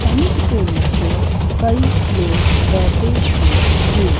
Tent के नीचे कई लोग बैठे हुए हैं।